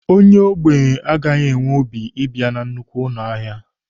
Onye ogbenye agaghị enwe obi ibia na nnukwu ahịa.